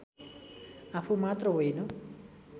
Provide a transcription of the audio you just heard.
आफू मात्र होइन